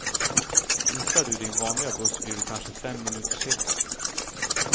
Missar du din vanliga buss blir du kanske fem minuter sen.